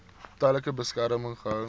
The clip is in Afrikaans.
tydelike beskerming gehou